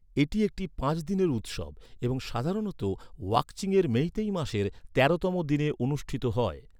এটি একটি পাঁচ দিনের উৎসব এবং সাধারণত ওয়াকচিংয়ের মেইতেই মাসের তেরোতম দিনে অনুষ্ঠিত হয়।